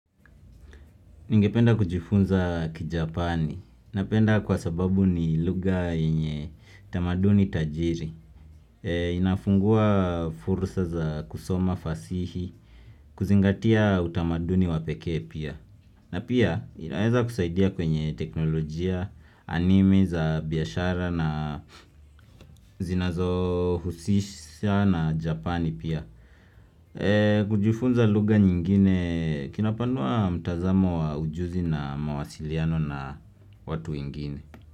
Ningependa kujifunza kijapani. Napenda kwa sababu ni lugha yenye tamaduni tajiri. Inafungua fursa za kusoma fasihi, kuzingatia utamaduni wa pekee pia. Na pia inaweza kusaidia kwenye teknolojia, anime za biashara na zinazo husisha na japani pia. Kujifunza lugha nyingine kinapanua mtazamo wa ujuzi na mawasiliano na watu wengine.